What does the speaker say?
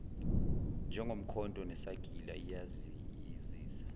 njengomkhonto nesagila iyayisiza